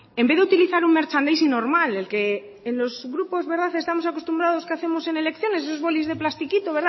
en vez de utilizar un merchandising normal el que en los grupos estamos acostumbrados que hacemos en elecciones esos bolis de plastiquito